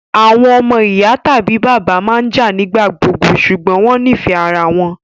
àwọn omo iya tabi bàbá maa n jạ nigbagbogbo ṣugbọn wọn nifẹ ara wọn